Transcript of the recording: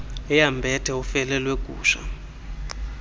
eyambethe ufele lwegusha